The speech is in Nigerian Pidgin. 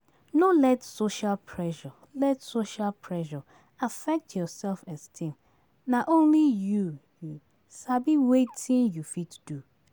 No let social pressure, let social pressure affect your self-esteem; na only you sabi wetin you fit do.